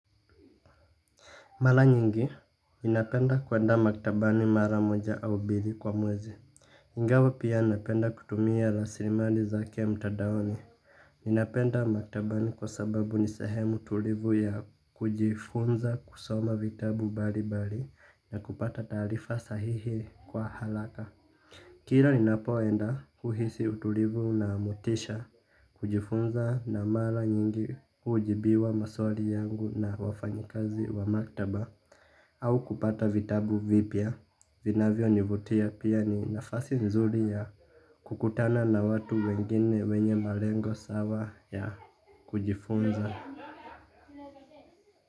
Mara nyingi, ninapenda kuenda maktabani mara moja au mbili kwa mwezi. Ingawa pia napenda kutumia rasimali zake mtandaoni. Napenda maktabani kwa sababu ni sehemu tulivu ya kujifunza kusoma vitabu mbali mbali na kupata taarifa sahihi kwa haraka. Kila ninapoenda huhisi utulivu na motisha kujifunza na mara nyingi hujibiwa maswali yangu na wafanyikazi wa maktaba. Au kupata vitabu vipya, vinavyonivutia pia ni nafasi nzuri ya kukutana na watu wengine wenye malengo sawa ya kujifunza.